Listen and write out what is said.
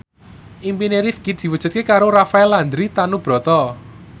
impine Rifqi diwujudke karo Rafael Landry Tanubrata